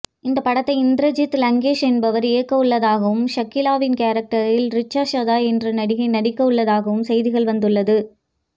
இந்த படத்தை இந்திரஜித் லங்கேஷ் என்பவர் இயக்கவுள்ளதாகவும் ஷகிலாவின் கேரக்டரில் ரிச்சா சாதா என்ற நடிகை நடிக்கவுள்ளதாகவும் செய்திகள் வெளிவந்துள்ளது